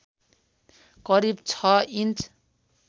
करिब ६ इन्च